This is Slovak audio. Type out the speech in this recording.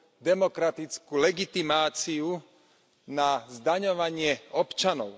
demokratickú legitimáciu na zdaňovanie občanov.